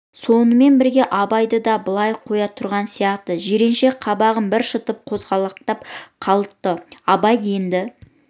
сонымен бірге абайды да былай қоя тұрған сияқты жиренше қабағын бір шытып қозғалақтап қалды абай енді